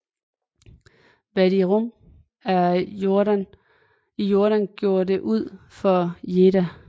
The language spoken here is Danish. Wadi Rum i Jordan gjorde det ud for Jedha